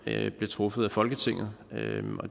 bliver truffet af folketinget